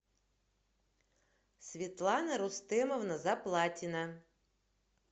светлана рустемовна заплатина